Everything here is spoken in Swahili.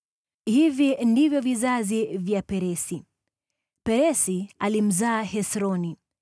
Hivi ndivyo vizazi vya Peresi: Peresi alimzaa Hesroni,